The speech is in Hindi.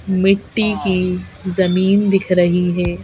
मिट्टी की जमीन दिख रही है।